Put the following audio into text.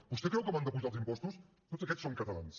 vostè creu que m’han d’apujar els impostos tots aquests són catalans